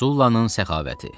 Sullanın səxavəti.